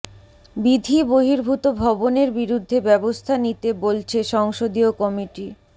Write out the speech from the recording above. বিধি বহির্ভূত ভবনের বিরুদ্ধে ব্যবস্থা নিতে বলছে সংসদীয় কমিটি